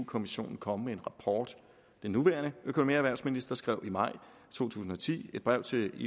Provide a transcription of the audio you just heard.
kommissionen komme med en rapport den nuværende økonomi og erhvervsminister skrev i maj to tusind og ti et brev til